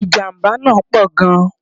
Ìjàmbá náà pọ̀ gan